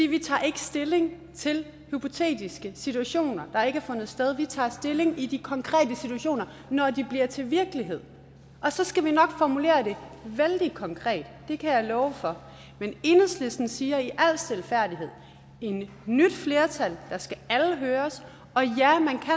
vi tager ikke stilling til hypotetiske situationer der ikke har fundet sted vi tager stilling i de konkrete situationer når de bliver til virkelighed og så skal vi nok formulere det vældig konkret det kan jeg love for men enhedslisten siger i al stilfærdighed at i et nyt flertal skal alle høres og ja